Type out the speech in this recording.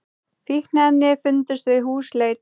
Fíkniefni fundust við húsleit